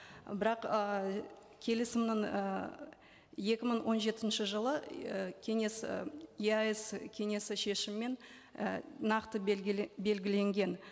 бірақ ы келісімнің ыыы екі мың он жетінші жылы ы кеңес ы еаэс кеңесі шешімімен і нақты белгіленген